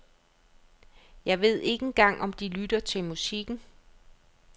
Jeg ved ikke engang om de lytter til musikken.